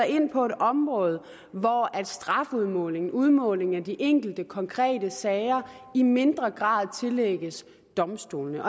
ind på det område hvor strafudmåling udmåling i de enkelte konkrete sager i mindre grad tillægges domstolene